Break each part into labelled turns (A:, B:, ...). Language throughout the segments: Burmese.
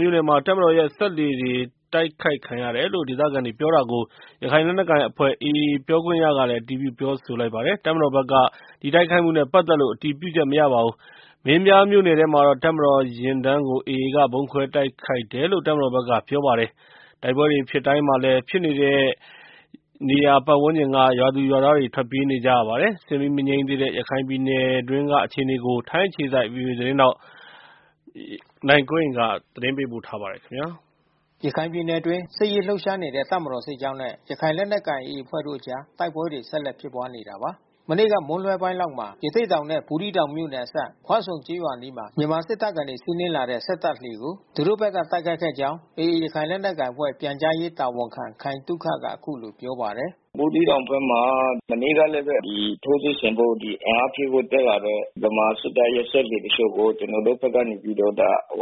A: မြို့နယ်မှာ တပ်မတော်ရဲ့ စက်တပ်လှေတွေ တိုက်ခိုက်ခံရတယ်လို့ ဒေသခံတွေက ပြောတာကို ရခိုင် လက်နက်ကိုင်အဖွဲ့ AA ပြောခွင့်ရကလည်း အတည်ပြုပြောဆိုပါတယ်။ တပ်မတော်ဘက်ကတော့ ဒီတိုက်ခိုက်မှုနဲ့ ပတ်သက်လို့ အတည်ပြုချက် မရပါဘူး။ မင်းပြားမြို့နယ်ထဲမှာတော့ တပ်မတော်ယာဉ်တန်းကို AA က ဗုံးခွဲတိုက်ခိုက်တယ်လို့ တပ်မတော်ဘက်က ပြောပါတယ်။ တိုက်ပွဲတွေ ဖြစ်တိုင်းမှာလည်း ဖြစ်တဲ့နေရာပတ်ဝန်းကျင်က ရွာသူရွာသားတွေ ထွက်ပြေးကြရပါတယ်။ စစ်မီး မငြိမ်းသေးတဲ့ ရခိုင်ပြည်နယ်တွင်း အခြေအနေကို ထိုင်းအခြေစိုက် ဗွီအိုအေ မြန်မာပိုင်းသတင်းထောက် နိုင်ကွန်းအိန်က သတင်းပေးပို့
B: ထားပါတယ်။ ရခိုင်ပြည်နယ်အတွင်း စစ်ရေးလှုပ်ရှားနေတဲ့ တပ်မတော်စစ်ကြောင်းနဲ့ ရခိုင်လက်နက်ကိုင် AA အဖွဲ့တို့အကြား တိုက်ပွဲတွေ ဆက်လက်ဖြစ်ပွားနေတာပါ။ မနေ့က မွန်းလွဲပိုင်းလောက်မှာ ရသေ့တောင်နဲ့ ဘူးသီးတောင်မြို့နယ်အစပ် ခွဆုံကျေးရွာအနီးမှာ မြန်မာစစ်တပ်ကနေ စီးနင်းလာတဲ့ စက်တပ်လှေကို သူတို့ဘက်က တိုက်ခိုက်ခဲ့ကြောင်း AA ရခိုင်လက်နက်ကိုင်အဖွဲ့ ပြန်ကြားရေးတာဝန်ခံ ခိုင်သုခက အခုလို ပြောပါတယ်။
A: “ဘူးသီးတောင်ဘက်မှာ မနေ့ကလည်းပဲ ဒီ ထိုးစစ်ဆင်ဖို့ အင်အားဖြည့်ဖို့ တက်လာတဲ့ ဗမာစစ်တပ်ရဲ့ စက်လှေတချို့ကို ကျနော်တို့ဘက်ကနေပြီးတော့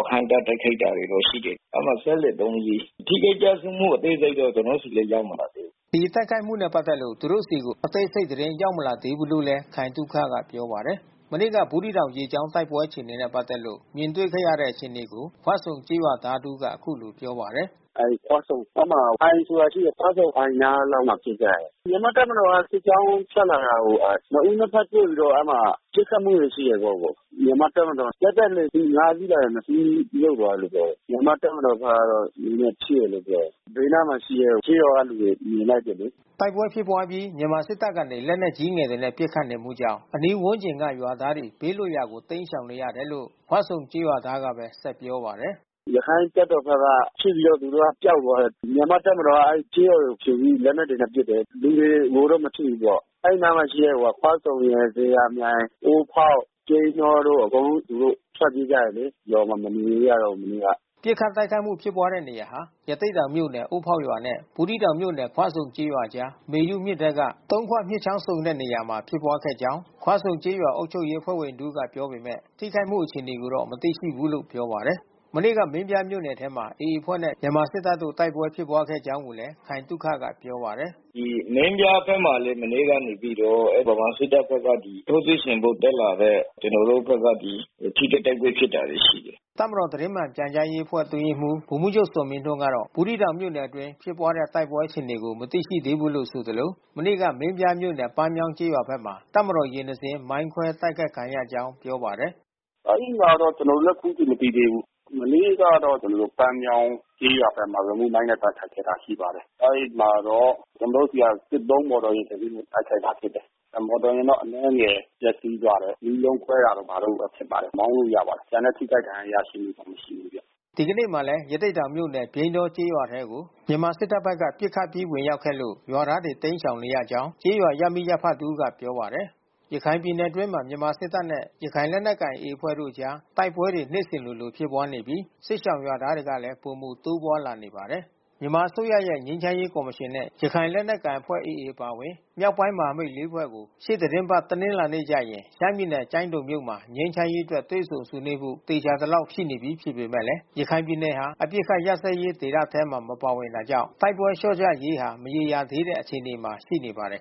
A: ဟန့်တား တိုက်ခိုက်တာတွေတော့ ရှိတယ်။ အဲဒီမှာစက်လှေ သုံး စီး။ ထိခိုက်ကျဆုံးမှု အသေးစိတ်တော့ ကျနော်ဆီ ရောက်မလာသေးဘူး
B: ။” ဒီတိုက်ခိုက်မှုနဲ့ ပတ်သက်လို့ သူတို့ဆီကို အသေးစိတ်သတင်း ရောက်မလာသေးဘူးလို့လည်း ခိုင်သုခက ပြောပါတယ်။ မနေ့က ဘူးသီးတောင် ရေကြောင်း တိုက်ပွဲအခြေအနေနဲ့ ပက်သက်လို့ မြင်တွေ့ခဲ့ရတဲ့ အခြေအနေတွေကို ခွဆုံကျေးရွာသားတဦးက အခုလို ပြောပါတယ်။
A: “ခွဆုံအိုင်နားလောက်မှာ ဖြစ်ကြတယ်။ မြန်မာ့တပ်မတော် စစ်ကြောင်းထွက်လာတာကို နှစ်ဦး နှစ်ဘက် တွေ့ပြီးတော့ အဲဒီမှာ ပစ်ခတ်မှုတွေ ရှိတာပေါ့။ မြန်မာ့တပ်မတော် စက်တပ်လှေအစီး ငါး စီးလာတယ်။ နှစ်စီးမြှုပ်သွားတယ်လို့ ပြောတယ်။ မြန်မာ့တပ်မတော်ဘက်ကတော့ နည်းနည်း ထိတယ်လို့ ပြောတယ်။ ဘေးနားမှာ ရှိတဲ့ ကျေးရွာက လူတွေမြင်လိုက်တယ်လေ။
B: ” တိုက်ပွဲဖြစ်ပွားအပြီး မြန်မာစစ်တပ်ကနေ လက်နက်ကြီးငယ်တွေနဲ့ ပစ်ခတ်မှုကြောင့် အနီးဝန်းကျင်ရွာက ရွာသားတွေ ဘေးလွတ်ရာကို တိမ်းရှောင်နေရတယ်လို့ ခွဆုံကျေးရွာသားကပဲ ဆက်ပြောပါတယ်။
A: “ရခိုင်တပ်တော်ဘက်က ဖြစ်ပြီးတော့ သူတို့က ပျောက်သွားတယ်။ မြန်မာ့တပ်မတော်က အဲဒီကျေးရွာတွေကို ချိန်ပြီး လက်နက်တွေနဲ့ ပစ်တယ်။ လူတွေကိုတော့ မထိဘူးပေါ့။ အဲဒီနားမှာရှိတဲ့ခွဆုံရယ် ဇေယျာမြိုင် အိုးဖေါက် ပြိန်းတောတို့ အကုန်လုံး သူတို့ ထွက်ပြေးကြတယ်လေ။ ရွာမှာ မနေရဲကြတော့ဘူး မနေ့က။
B: ” ပစ်ခတ်တိုက်ခိုက်မှု ဖြစ်ပွားတဲ့နေရာဟာ ရသေ့တောင်မြို့နယ် အိုးဖေါက်ရွာနဲ့ ဘူးသီးတောင်မြို့နယ် ခွဆုံကျေးရွာအကြား မေယုမြစ်ထဲက သုံးခွမြစ်ချောင်းဆုံတဲ့ နေရာမှာ ဖြစ်ပွားခဲ့ကြောင်း ခွဆုံကျေးရွာအုပ်ချုပ်ရေး အဖွဲ့ဝင် တဦးက ပြောပေမဲ့ ထိခိုက်မှု အခြေအနေကိုတော့ မသိရှိဘူးလို့ ပြောပါတယ်။ မနေ့က မင်းပြားမြို့နယ်ဘက်မှာ AA အဖွဲ့နဲ့ မြန်မာစစ်တပ်တို့ တိုက်ပွဲ ဖြစ်ပွားခဲ့ကြာင်းကိုလည်း ခိုင်သုခက ပြောပါတယ်။
A: “မင်းပြားဘက်မှာလည်း မနေ့ကနေပြီးတော့ ဗမာစစ်တပ်ဘက်က ထိုးစစ်ဆင်ဖို့ တက်လာတဲ့ ကျနော်တို့ဘက်က ဒီထိတွေ့ တိုက်ပွဲဖြစ်တာတွေ ရှိတယ်
B: ။” တပ်မတော် သတင်းမှန်ပြန်ကြားအတွင်းရေးမှူး ဗိုလ်မှူးချုပ်ဇော်မင်းထွန်းကတော့ ဘူးသီးတောင်မြို့နယ်အတွင်း တိုက်ပွဲဖြစ်ပွားမှု အခြေအနေကို မသိရှိရသေးဘူးလို့ဆိုသလို မနေ့က မင်းပြားမြို့နယ် ပန်းမြောင်းကျေးရွာဘက်မှာ တပ်မတော်ယာဉ် တစီး မိုင်းခွဲတိုက်ခိုက်ခံရကြောင်း ပြောပါတယ်
A: ။ “အဲဒီမှာတော့ ကျနော်တို့လည်း အခုထိ မသိသေးဘူး။ မနေ့ကတော့ ကျနော်တို့ ပန်းမြောင်းကျေးရွာဘက်မှာ ရီမုမိုင်းနဲ့ တိုက်ခိုက်ခဲ့တာ ရှိပါတယ်။ အဲဒီမှာတော့ ကျနော်တို့ဆီက စစ်သုံးမော်တော်ယာဉ် တစီး တိုက်ခိုက်တာ ဖြစ်တယ်။ မော်တော်ယာဉ်တော့ အနည်းငယ် ပျက်စီးသွားတယ်။ မီးလုံးကွဲတာတို့ ဘာတို့ပဲ ဖြစ်ပါတယ်။ မောင်းလို့ရပါတယ်။ ကျန်တဲ့ ထိခိုက်ဒဏ်ရာ ရရှိမှုတော့ မရှိဘူးဗျ
B: ။ ဒီကနေ့မှာလည်း ရသေ့တောင်မြို့နယ် ပြိန်းတောကျေးရွာထဲကို မြန်မာစစ်တပ်ဘက်က ပစ်ခတ် ပစ်ခတ် ဝင်ရောက်ခဲ့လို့ ရွာသားတွေ တိမ်းရှောင်နေရကြောင်း ကျေးရွာ ရပ်မိရပ်ဖတဦးကပြောပါတယ်။ ရခိုင်ပြည်နယ်အတွင်းမှာ မြန်မာစစ်တပ်နဲ့ ရခိုင်လက်နက်ကိုင် AA အဖွဲ့တို့အကြား တိုက်ပွဲတွေနေ့စဉ်လိုလို ဖြစ်ပွားနေပြီး စစ်ရှောင်ရွာသားတွေလည်း ပိုမို တိုးပွားလာနေပါတယ်။ မြန်မာအစိုးရဲ့ ငြိမ်းချမ်းရေးကော်မရှင်နဲ့ ရခိုင်လက်နက်ကိုင်အဖွဲ့ AA အပါအဝင် မြောက်ပိုင်းမဟာမိတ် လေး ဖွဲ့တို့ ရှေ့သီတင်းပတ် တနင်္လာနေ့ကျရင် ရှမ်းပြည်နယ် ကျိုင်းတုံမြို့မှာ ငြိမ်းချမ်းရေးအတွက် တွေ့ဆုံဆွေးနွေးဖို့ သေချာ သလောက်ရှိနေပြီဖြစ်ပေမဲ့ ရခိုင်ပြည်နယ်ဟာ အပစ်ခတ် ရပ်စဲရေးဒေသထဲမှာ မပါဝင်တာကြောင့် တိုက်ပွဲ လျှော့ကျရေးဟာ မရေရာသေးတဲ့ အခြေအနေမှာ ရှိနေပါတယ်